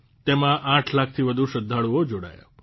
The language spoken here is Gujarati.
તેમાં આઠ લાખથી વધુ શ્રદ્ધાળુઓ જોડાયા